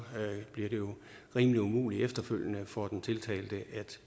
bliver det jo rimelig umuligt efterfølgende for den tiltalte at